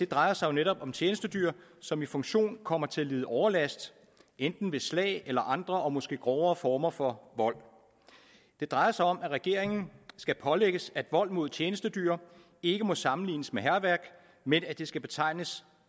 drejer sig netop om tjenestedyr som i funktion kommer til at lide overlast enten ved slag eller andre og måske grovere former for vold det drejer sig om at regeringen skal pålægges at vold mod tjenestedyr ikke må sammenlignes med hærværk men skal betegnes